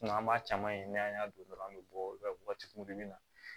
an b'a caman ye n'an y'a don dɔrɔnw an bɛ bɔ waagati min na